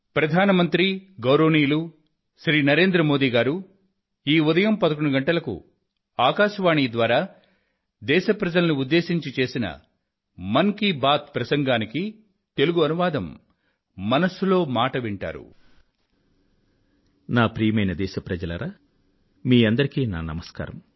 ప్రియమైన నా దేశ వాసులారా మీ అందరికీ నా నమస్కారం